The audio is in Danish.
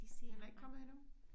Han er ikke kommet endnu?